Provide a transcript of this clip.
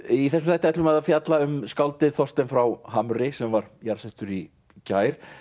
í þessum þætti ætlum við að fjalla um skáldið Þorstein frá Hamri sem var jarðsettur í gær